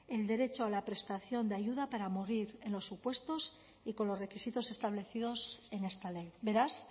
el derecho a la prestación de ayuda para morir en los supuestos y con los requisitos establecidos en esta ley beraz